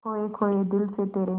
खोए खोए दिल से तेरे